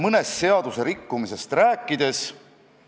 Komisjon oleks saanud seda teha, aga koalitsioon hääletas selle üksmeelselt maha.